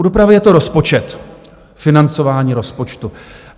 U dopravy je to rozpočet, financování rozpočtu.